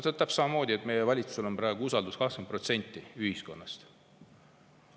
See on täpselt samamoodi, et meie valitsust usaldab praegu 20% ühiskonnast.